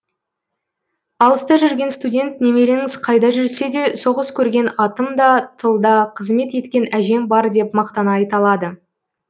алыста жүрген студент немереңіз қайда жүрсе де соғыс көрген атам да тылда қызмет еткен әжем бар деп мақтана айталады